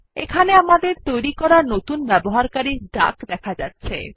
এখানে আমাদের তৈরী করা নতুন ব্যবহারকারী ডাক দেখা যাচ্ছে